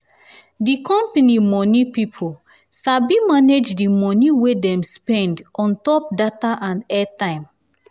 di um company money pipo sabi manage di money wey dem spend on um top data and airtime.